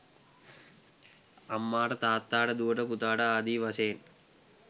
අම්මාට තාත්තාට දුවට පුතාට ආදී වශයෙන්